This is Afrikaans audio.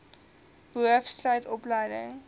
boov sluit opleiding